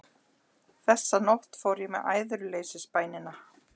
Þessa nótt fór ég með æðruleysisbænina